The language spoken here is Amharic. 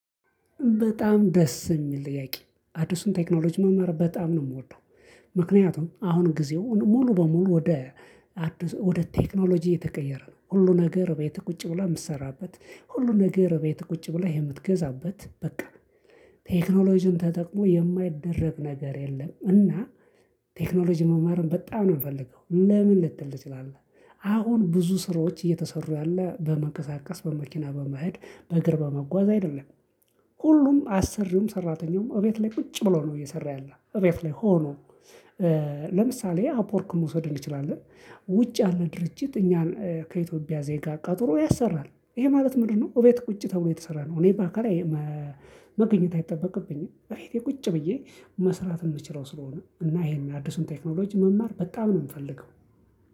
በጣም ደስ የሚል ጥያቄ አዲሱን ቴክኖሎጂ መማር በጣም ነው የምወደው። ምክንያቱም አሁን ጊዜው ሙሉ በሙሉ ወደ ወደ ቴክኖሎጂ የተቀየረ ነው። ሁሉ ነገር እቤት ቁጭ ብላ የምትሰራበት ሁሉ ሁሉም ነገር ቤት ቁጭ ብላ የምትገዛበት በቃ ቴክኖሎጂን ተጠቅሞ የማይደረብ ነገር የለም። እና ቴክኖሎጂ መማርም በጣም ነው የምፈልገው። ለምን ልትል ትችላለህ አሁን ብዙ ስራዎች እየተሰሩ ያለ በመቀሳቀስ በመኪና በመሄድ በእግር በመጓዝ አይደለም። ሁሉም አሰሪውም ሰራተኛውም እቤት ላይ ቁጭ ብለው ነው እየሰራ ያለው እቤት ላይ ሆኖ። ለምሳሌ አፖርክን መውሰድ እንችላለን። ውጭ ያለ ድርጅት እኛን ከኢትዮጵያ ዜጋ ቀጥሮ ያሰራል ይሄ ማለት ምንድነው? እቤት ቁጭ ተብሎ የተሰራ ነው። እኔ ባካል መገኘት አይጠበቅብኝም። እቤቴ ቁጭ ብዬ መስራት የምችለው ስለሆነ እና ይሄን አዲሱን ቴክኖሎጂ መማር በጣም ነው የምፈልገው።